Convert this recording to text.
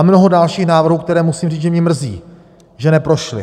A mnoho dalších návrhů, které, musím říct, že mě mrzí, že neprošly.